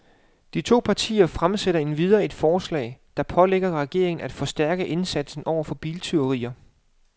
De to partier fremsætter endvidere et forslag, der pålægger regeringen af forstærke indsatsen over for biltyverier.